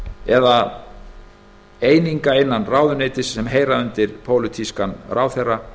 eða eininga innan ráðuneytis sem heyra undir pólitískan ráðherra